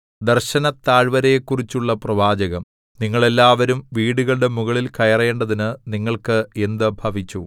ദർശനത്താഴ്വരയെക്കുറിച്ചുള്ള പ്രവാചകം നിങ്ങൾ എല്ലാവരും വീടുകളുടെ മുകളിൽ കയറേണ്ടതിനു നിങ്ങൾക്ക് എന്ത് ഭവിച്ചു